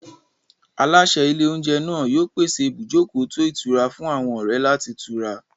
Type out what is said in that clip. Aláṣẹ ilé-oúnjẹ náà yóò pèsè ibùjókòó tó ìtura fún àwọn ọ̀rẹ́ láti tura.